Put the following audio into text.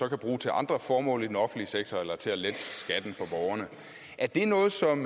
kan bruge til andre formål i den offentlige sektor eller til at lette skatten for borgerne er det noget som